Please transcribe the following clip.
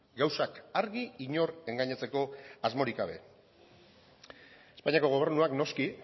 gauzak argi inor engainatzeko asmorik gabe espainiako gobernuak noski